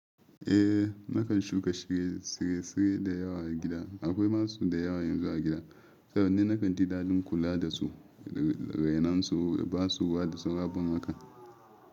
Eh, nakan shuka shiresire da yawa a gida. Akwai masu da yawa yanzu a gida saboda nakan didalin kula da su, rainonsu da ba su bada sun rabon wakan.